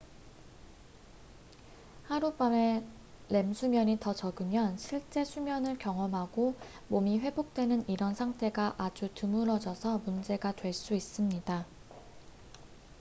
하룻밤에 렘수면이 더 적으면 실제 수면을 경험하고 몸이 회복되는 이런 상태가 아주 드물어져서 문제가 될 수 있습니다